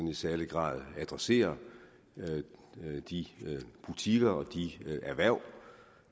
i særlig grad adresserer de butikker og de erhverv